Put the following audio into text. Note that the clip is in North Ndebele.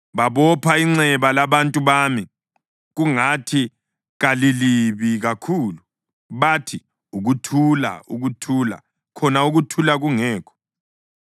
Babopha inxeba labantu bami kungathi kalilibi kakhulu. Bathi, “Ukuthula, ukuthula,” khona ukuthula kungekho.